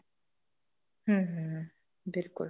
ਹਮ ਹਮ ਬਿਲਕੁਲ